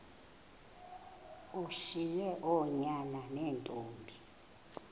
ushiye oonyana neentombi